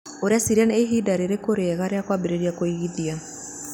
Ũreciria nĩ ihinda rĩrĩkũ rĩega rĩa kwambĩrĩria kũigithia?